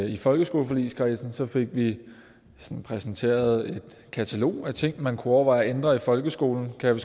i folkeskoleforligskredsen fik vi sådan præsenteret et katalog af ting man kunne overveje at ændre i folkeskolen kan